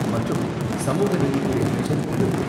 மற்றும் சமூக நீதித்துறை அமைச்சர் திரு.